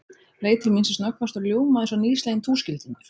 Leit til mín sem snöggvast og ljómaði eins og nýsleginn túskildingur.